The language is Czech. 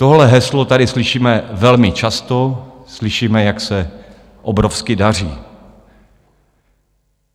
Tohle heslo tady slyšíme velmi často, slyšíme, jak se obrovsky daří.